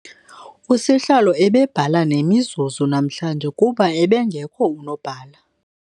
Usihlalo ebebhala nemizuzu namhlanje kuba ebengekho unobhala.